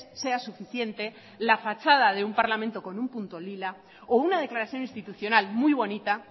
sea suficiente la fachada de un parlamento con un punto lila o una declaración institucional muy bonita